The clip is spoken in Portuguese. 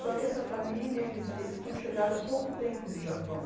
Só que essa família, eles eles tinham chegado há pouco tempo do Japão.